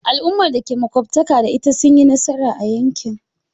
Al'ummar da ke makwabtaka da ita sun yi nasara a yakin.